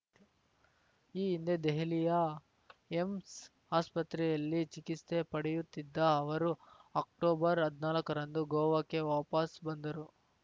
ಈ ಹಿಂದೆ ದೆಹಲಿಯ ಏಮ್ಸ್‌ ಆಸ್ಪತ್ರೆಯಲ್ಲಿ ಚಿಕಿತ್ಸೆ ಪಡೆಯುತ್ತಿದ್ದ ಅವರು ಅಕ್ಟೋಬರ್‌ ಹದ್ನಾಲ್ಕರಂದು ಗೋವಾಕ್ಕೆ ವಾಪಸ್‌ ಬಂದರು